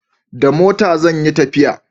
da mota zan yi tafiya